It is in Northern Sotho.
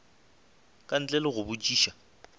ka ntle le go botšiša